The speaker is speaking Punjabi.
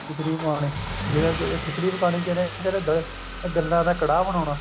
ਖਿੱਚੜੀ ਪਕਾਉਣੀ ਜਿਵੇਂ ਖਿੱਚੜੀ ਪਕਾਉਣੀ ਜਿਵੇਂ ਕਹਿੰਦੇ ਗੱਲਾਂ ਦਾ ਕੜਾਹ ਬਣਾਉਣਾ